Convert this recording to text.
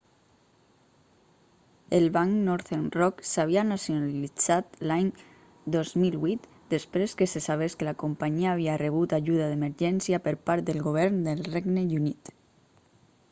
el banc northern rock s'havia nacionalitzat l'any 2008 després que se sabés que la companyia havia rebut ajuda d'emergència per part del govern del regne unit